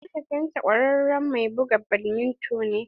Mahaifin ta kwararen mai buga badminto ne